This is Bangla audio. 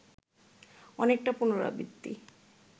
অনেকটা পুনরাবৃত্তি